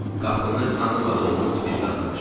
Qapını tanımadığımız bir qadın açdı.